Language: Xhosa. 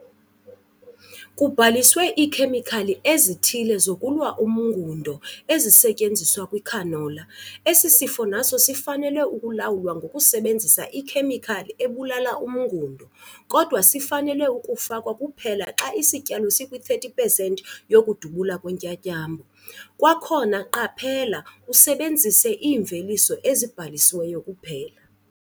Kubhaliswe iikhemikhali ezithile zokulwa umngundo ezisetyenziswa kwicanola. Esi sifo naso sifanele ukulawulwa ngokusebenzisa ikhemikhali ebulala umngundo, kodwa sifanele ukufakwa kuphela xa isityalo sikwi-30 pesenti yokudubula kweentyatyambo. Kwakhona, qaphela usebenzise iimveliso ezibhalisiweyo kuphela.